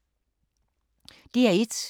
DR1